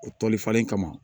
O tɔlifalen kama